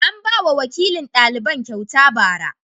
An ba wa wakilin daliban kyauta ba'ara.